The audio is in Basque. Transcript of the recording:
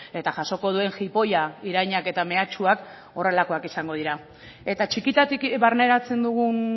eta jasoko duen jipoia irainak eta mehatxuak horrelakoak izango dira eta txikitatik barneratzen dugun